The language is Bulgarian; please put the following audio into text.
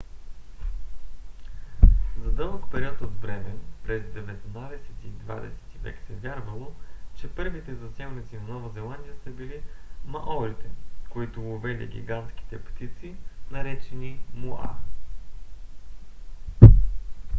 за дълъг период от време през деветнадесети и двадесети век се вярвало че първите заселници на нова зеландия са били маорите които ловели гигантските птици наречени моа